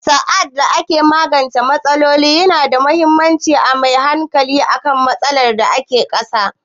Sa'ad da ake magance matsaloli, yana da muhimmanci a mai da hankali kan matsalar da ke ƙasa